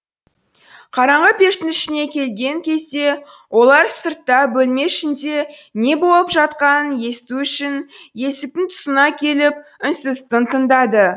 қараңғы пештің ішіне келген кезде олар сыртта бөлме ішінде не болып жатқанын есту үшін есіктің тұсына келіп үнсіз тың тыңдады